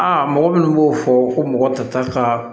Aa mɔgɔ minnu b'o fɔ ko mɔgɔ ta ka